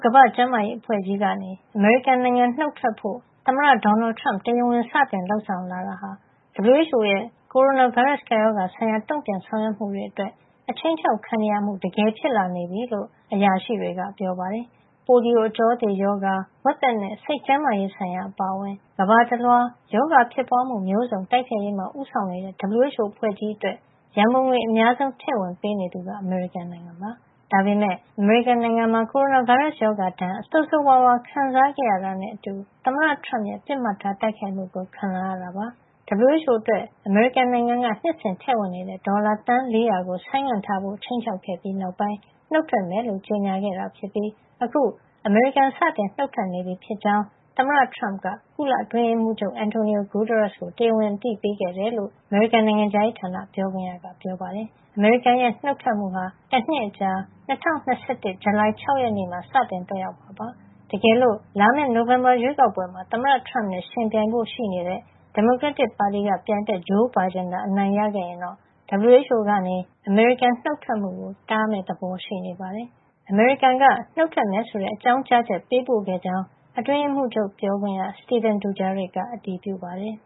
ကမ္ဘာ့ကျန်းမာရေးအဖွဲ့ကြီးကနေ အမေရိကန်နိုင်ငံ နုတ်ထွက်ဖို့ သမ္မတဒေါ်နယ်ထရမ့် တရားဝင် စတင်လုပ်ဆောင်လာတာဟာ WHO ရဲ့ ကိုရိုနာဗိုင်းရပ်စ်ကပ်ရောဂါဆိုင်ရာ တုံ့ပြန်ဆောင်ရွက်မှုတွေ အတွက် ခြိမ်းခြောက်ခံနေရမှု တကယ်ဖြစ်လာနေပြီလို့ အရာရှိတွေက ပြောပါတယ်။ ပိုလီယို အကြောသေရောဂါ၊ ဝက်သက်နဲ့ စိတ်ကျန်းမာရေးဆိုင်ရာအပါအဝင် ကမ္ဘာတလွှား ရောဂါဖြစ်ပွါးမှု မျိုးစုံတိုက်ဖျက်ရေးမှာ ဦးဆောင်နေတဲ့ WHO အဖွဲ့ကြီးအတွက် ရန်ပုံငွေ အများဆုံး ထည့်ဝင်ပေးနေသူဟာ အမေရိကန်နိုင်ငံဖြစ်ပါတယ်။ ဒါပေမယ့် အမေရိကန်နိုင်ငံမှာ ကိုရိုနာဗိုင်းရပ်စ် ရောဂါဒဏ်ကို ဆိုးဆိုးဝါးဝါး ခံစားခဲ့ရတာနဲ့ အတူ WHO ဟာ သမ္မတထရမ့်ရဲ့ ပစ်မှတ်ထား တိုက်ခိုက်မှုကို ခံလာရတာပါ။ WHO အတွက် အမေရိကန်နိုင်ငံက နှစ်စဉ်ထည့်နေတဲ့ ဒေါ်လာ သန်း ၄၀၀ ကို ဆိုင်းငံ့ထားဖို့ ခြိမ်းခြောက်ခဲ့ပြီး နောက်ပိုင်း နုတ်ထွက်မယ်လို့ ကြေညာခဲ့တာ ဖြစ်ပြီး အခု အမေရိကန် စတင်နုတ်ထွက်နေပြီဖြစ်ကြောင်း သမ္မတထရမ့်က ကုလသမဂ္ဂ အတွင်းရေးမှူးချုပ် Antonio Guterres ကို တရားဝင်အသိပေးခဲ့တယ်လို့ အမေရိကန် နိုင်ငံခြားရေးဌာန ပြောခွင့်ရက ပြောပါတယ်။ အမေရိကန်ရဲ့ နုတ်ထွက်မှုဟာ တနှစ်အကြာ ၂၀၂၁ ခု ဇူလိုင်လ ၆ ရက် နေ့မှာ စတင်သက်ရောက်မှာ ဖြစ်ပါတယ်။ တကယ်လို့ လာမယ့် နိုဝင်ဘာရွေးကောက်ပွဲမှာ သမ္မတ ထရမ့်နဲ့ ယှဉ်ပြိုင်ဖို့ ရှိနေတဲ့ ဒီမိုကရက်တစ်ပါတီက ပြိုင်ဘက် ဂျိုးဘိုင်ဒင်သာ အနိုင်ရခဲ့ရင်တော့ WHO ကနေ အမေရိကန် နုတ်ထွက်မှုကို တားမယ့်ပုံရှိနေပါတယ်။ အမေရိကန်က နှုတ်ထွက်မယ်ဆိုတဲ့ အကြောင်းကြားချက် ပေးပို့ခဲ့ကြောင်း အတွင်းရေးမှူးချုပ် ပြောခွင့်ရ Stephane Dujarric က အတည်ပြုပါတယ်